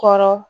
Kɔrɔ